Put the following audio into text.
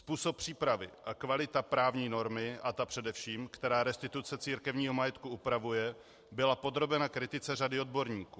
Způsob přípravy a kvalita právní normy, a ta především, která restituce církevního majetku upravuje, byla podrobena kritice řady odborníků.